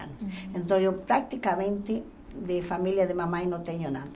anos. Então eu praticamente de família de mamãe não tenho nada.